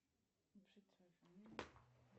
кто нибудь слышит меня